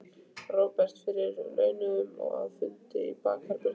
Róbert: Fyrir launung og að, fundi í bakherbergjum?